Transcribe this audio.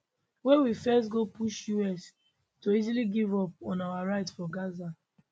wey we face go push us to easily give up on our right for gaza